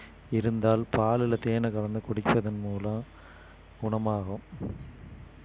இருந்தால் பாலுல தேனை கலந்து குடிக்கிறதன் மூலம் குணமாகும்